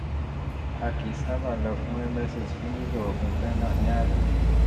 a kì í sábà lọ fún emesis (èébì) fún líló oògùn phenol ní àlòjù